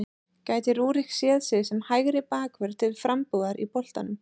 Gæti Rúrik séð sig sem hægri bakvörð til frambúðar í boltanum?